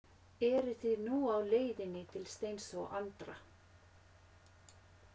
Eruð þið nú á leiðinni til Steins og Andra?